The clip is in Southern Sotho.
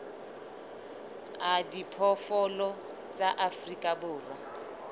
a diphoofolo tsa afrika borwa